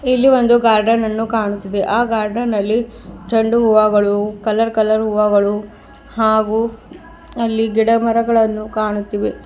ಇಲ್ಲಿ ಒಂದು ಗಾರ್ಡನ್ ಅನ್ನು ಕಾಣುತಿದೆ ಆ ಗಾರ್ಡನ್ ನಲ್ಲಿ ಚಂಡು ಹೂವಾಗಳು ಕಲರ್ ಕಲರ್ ಹೂವಾಗಳು ಹಾಗೂ ಅಲ್ಲಿ ಗಿಡ ಮರಗಳನ್ನು ಕಾಣುತ್ತಿವೆ.